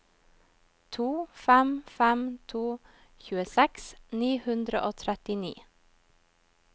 to fem fem to tjueseks ni hundre og trettini